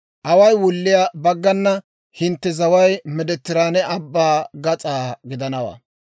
« ‹Away wulliyaa baggana hintte zaway Meediteraane Abbaa gas'aa gidanawaa.